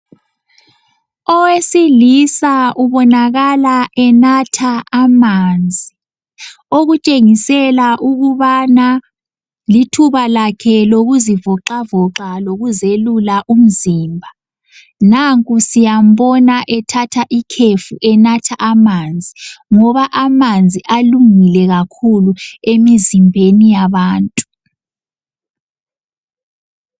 Owesilisa ubonakala enatha amanzi, okutshengisela ukubana lithuba lakhe lokuzivoxavoxa lokuzelula umzimba. Nanku siyambona ethatha ikhefu enatha amanzi ngoba amanzi alungile kakhulu emizimbeni yabantu.